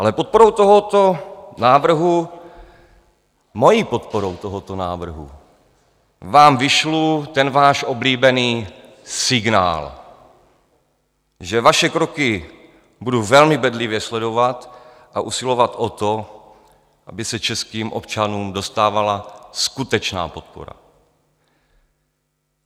Ale podporou tohoto návrhu, mojí podporou tohoto návrhu vám vyšlu ten váš oblíbený signál, že vaše kroky budu velmi bedlivě sledovat a usilovat o to, aby se českým občanům dostávala skutečná podpora.